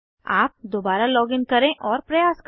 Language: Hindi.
आप दोबारा लॉगिन करें और प्रयास करें